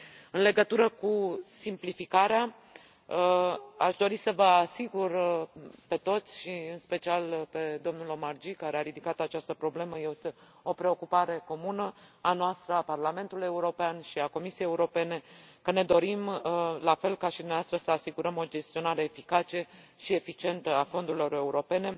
În legătură cu simplificarea, aș dori să vă asigur pe toți și, în special, pe domnul Omarjee, care a ridicat această problemă, de faptul că este o preocupare comună a noastră, a Parlamentului European și a Comisiei Europene, ne dorim, la fel ca și dumneavoastră, să asigurăm o gestionare eficace și eficientă a fondurilor europene.